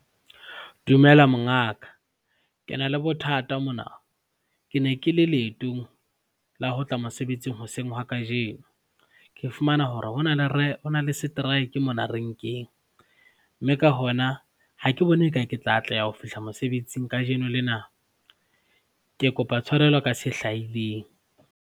Dumela mongaka, ke na le bothata mona. Ke ne ke le leetong la ho tla mosebetsing hoseng ha kajeno, ke fumana hore ho na le seteraeke mona renkeng mme ka hona ha ke bone eka ke tla atleha ho fihla mosebetsing kajeno lena. Ke kopa tshwarelo ka se hlahileng.